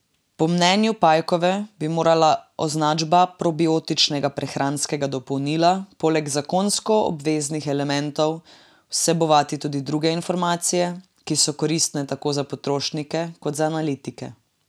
Po mnenju Pajkove bi morala označba probiotičnega prehranskega dopolnila poleg zakonsko obveznih elementov vsebovati tudi druge informacije, ki so koristne tako za potrošnike kot za analitike.